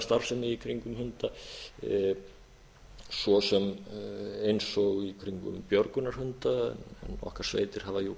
starfsemi í kringum hunda svo sem eins og björgunarhunda okkar sveitir hafa jú